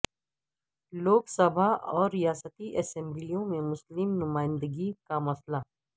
لوک سبھا اور ریاستی اسمبلیوں میں مسلم نمائندگی کا مسئلہ